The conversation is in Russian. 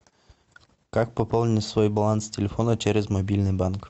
как пополнить свой баланс телефона через мобильный банк